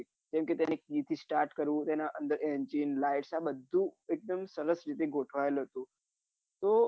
કેમ કે તેને રીતે start કરવું એના અંદર engine light બધું સરસ ગોઠવાયેલું હતું તો